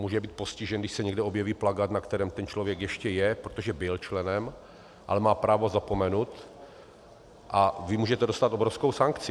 Může být postižen, když se někde objeví plakát, na kterém ten člověk ještě je, protože byl členem, ale má právo zapomenut, a vy můžete dostat obrovskou sankci?